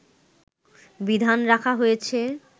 বিধান রাখা হয়েছে